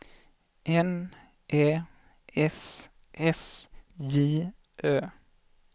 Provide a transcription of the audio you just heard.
N Ä S S J Ö